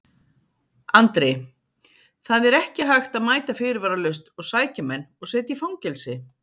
Andri: Það er ekki hægt að mæta fyrirvaralaust og sækja menn og setja í fangelsi?